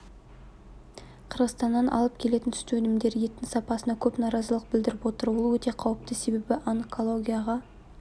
қырғызстаннан алып келетін сүт өнімдері еттің сапасына көп наразылық білдіріп отыр ол өте қауіпті себебі онкологияға